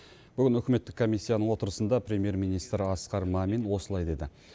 бүгін үкіметтік комиссияның отырысында премьер министр асқар мамин осылай деді